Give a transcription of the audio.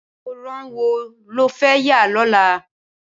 Awórán wó ló fẹ̀ yà lọlá?